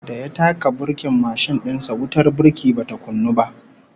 Da ya taka burkin mashin din sa, wutar burki bata kunnu ba